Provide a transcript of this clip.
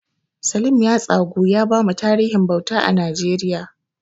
Salim ya tsagu ya bamu tarihin bauta a Najeriya.